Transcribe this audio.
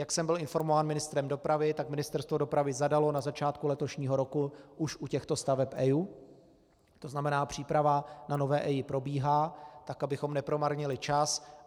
Jak jsem byl informován ministrem dopravy, tak Ministerstvo dopravy zadalo na začátku letošního roku už u těchto staveb EIA, to znamená příprava na nové EIA probíhá tak, abychom nepromarnili čas.